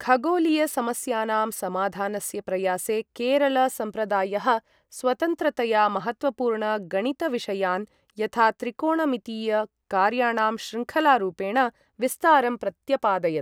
खगोलीय समस्यानां समाधानस्य प्रयासे केरल सम्प्रदायः स्वतन्त्रतया महत्त्वपूर्ण गणित विषयान् यथा त्रिकोणमितीय कार्याणां श्रृङ्खलारूपेण विस्तारं, प्रत्यपादयत्।